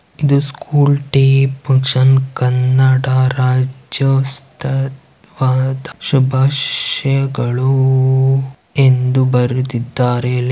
ಇದು school day function . Kannada ರಾಜ್ಯೋತ್ಸವ ವದ ಶುಭಾಷ್ ಯಗಳು ಎಂದು ಬರೆದಿದ್ದರೇ ಲ್--